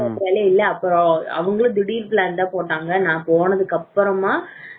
போற plan இல்ல அப்புறம் அவங்களும் திடீர் plan தான் போட்டாங்க நான் போனதுக்கு அப்புறமா